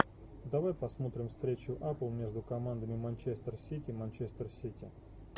давай посмотрим встречу апл между командами манчестер сити манчестер сити